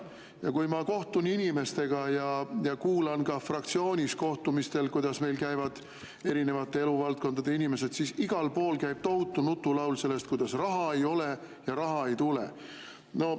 Ja kui ma kohtun inimestega ja kuulan ka fraktsioonis kohtumistel erinevate eluvaldkondade inimestega, siis igal pool käib tohutu nutulaul sellest, kuidas raha ei ole ja raha ei tule.